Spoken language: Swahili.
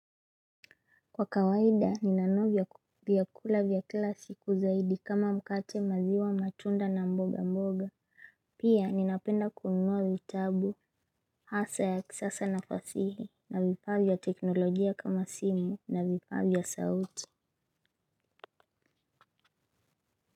Kwa kawaida, ninanua vyakula vya kila siku zaidi kama mkate maziwa matunda na mboga mboga. Pia, ninapenda kununua vitabu, hasa ya kisasa na fasihi, na vifaa teknolojia kama simu, na vifaa vya sauti.